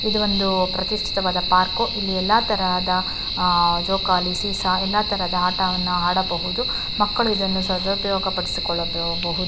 ಇದು ಪ್ರತಿಷ್ಠಿತವಾದ ಪಾರ್ಕ್ ಇಲ್ಲಿ ಎಲ್ಲ ತರಹದ ಜೋಕಾಲಿ ಸೀಸಾ ಎಲ್ಲ ತರಹದ ಆಟವನ್ನು ಆಡಬಹುದು ಮಕ್ಕಳು ಇದನ್ನ ಸದುಪಯೋಗ ಪಡಿಸಿಕೊಳ್ಳಬಹುದು.